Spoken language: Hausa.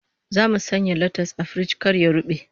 Zamu sanya latas a firiji kar ya rube